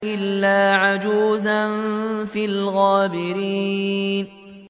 إِلَّا عَجُوزًا فِي الْغَابِرِينَ